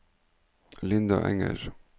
Linda Enger